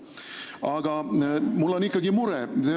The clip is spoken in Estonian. Aga mul on ikkagi mure.